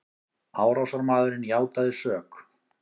Árásarmaðurinn játaði sök